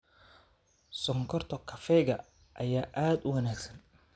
Sonkorta kafeega ayaa aad u wanaagsan.